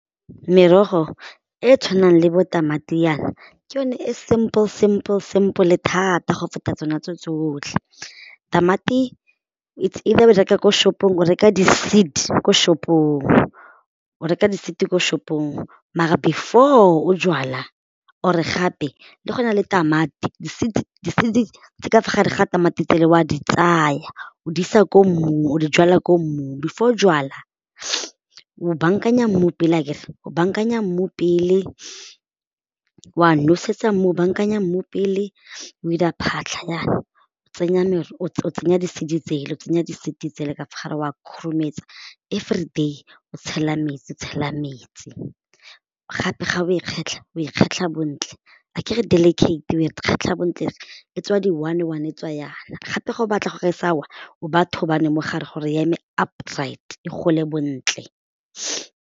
Merogo e e tshwanang le bo tamati yana ke yone e simple simple sample thata go feta tsona tso tsotlhe. Tamati it's either o e reka ko shop-ong o reka di seed ko shop-ong, o reka di seed ko shop-ong maar before o jwala or gape le go na le tamati tse di ka fo gare ga tamati tsele o a di tsaya o di isa ko mmung o di jala ko mmung, before o jwala, o bankanya mmu pele akere, o bankanya mmu pele wa nosetsa mmu o bankanya mmu pele, o 'ira phatlha jaana o tsenya o tsenya di-seed tsela ka fa gare o a khurumetsa everyday o tshela metsi, o tshela metsi gape ga o e kgetlha o e kgetlha bontle ga ke re di delicate o e kgetlha bontle e tswa di one one e tswa jaana gape ga o batla gore sa wa o baya thonane mo gare gore ya me up-right e gole bontle.